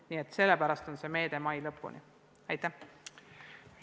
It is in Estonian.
Nii et sellepärast on see meede ette nähtud mai lõpuni.